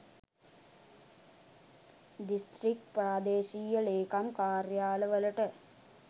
district ප්‍රාදේශීය ලේකම් කාර්යාල වලට